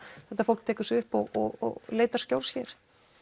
fólk tekur sig upp og leitar skjóls hér